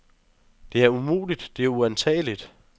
Det er umuligt, det er uantageligt.